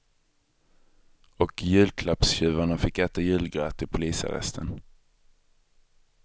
Och julklappstjuvarna fick äta julgröt i polisarresten.